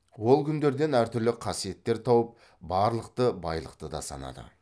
ол күндерден әртүрлі қасиеттер тауып барлықты байлықты да санады